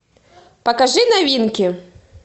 покажи новинки